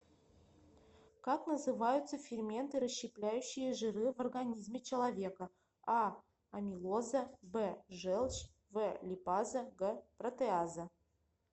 как называются ферменты расщепляющие жиры в организме человека а амилоза б желчь в липаза г протеаза